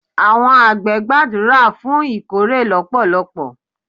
Àwọn àgbẹ̀ gbàdúrà fún ìkórè lọpọlọpọ.